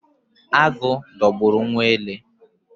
Agụ dogburu nwa ele